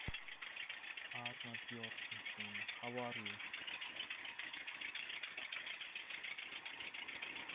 Arnar Björnsson hvernig hefur þú það?